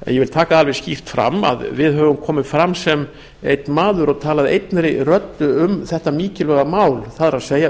en ég vil taka það alveg skýrt fram að við höfum komið fram sem einn maður og talað einni röddu um þetta mikilvæg mál það er